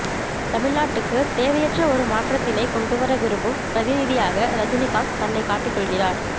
தமிழ்நாட்டுக்குத் தேவையற்ற ஒரு மாற்றத்தினைக் கொண்டு வர விரும்பும் பிரதிநிதியாக ரஜினிகாந்த் தன்னை காட்டிக் கொள்கிறார்